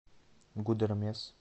гудермес